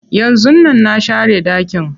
Yanzun nan na share ɗakin.